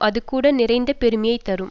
அதுகூட நிறைந்த பெருமையை தரும்